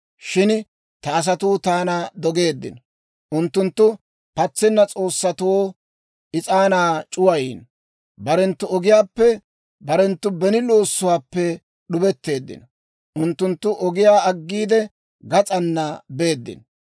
Shin ta asatuu taana dogeeddino; unttunttu patsenna s'oossatoo is'aanaa c'uwayiino. Barenttu ogiyaappe, barenttu beni loossuwaappe d'ubetteeddino; unttunttu ogiyaa aggiide, gas'aana beeddino.